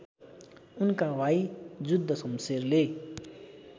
उनका भाइ जुद्धशमशेरले